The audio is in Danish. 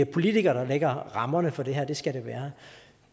politikere der lægger rammerne for det her og det skal det være